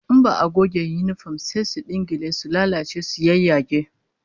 In ba'a goge yinifom sai su dingile, su lalace su yayyage